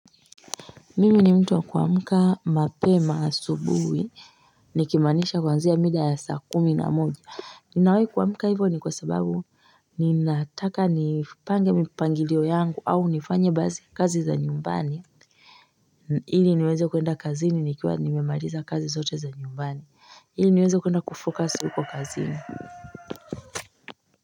Mimi ni mtu wa kuamka mapema asubuhi nikimaanisha kwanzia mida ya saa kumi na moja ninawee kuwamuka hivyo ni kwa sababu ni nataka ni pange mipangilio yangu au nifanye bazi kazi za nyumbani hili niweze kuenda kazi ni nikiwa nimemaliza kazi zote za nyumbani hili niweze kuenda kufokasi kwa kazi ni.